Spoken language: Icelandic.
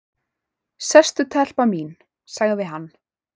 """Sestu telpa mín, sagði hann."""